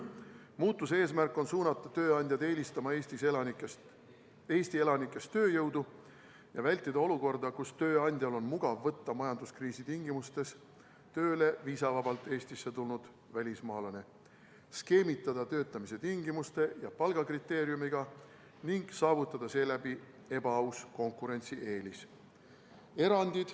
Muutuse eesmärk on suunata tööandjaid eelistama Eesti elanikest tööjõudu ja vältida olukorda, kus tööandjal on mugav võtta majanduskriisi tingimustes tööle viisavabalt Eestisse tulnud välismaalane, skeemitada töötamise tingimuste ja palgakriteeriumidega ning saavutada seeläbi ebaaus konkurentsieelis.